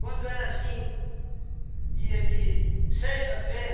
Quando era, assim, dia de sexta-feira,